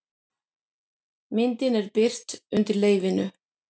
Myndin er birt undir leyfinu